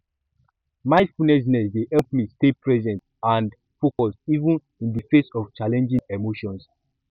mindfulness dey help me stay present and focused even in di face of challenging emotions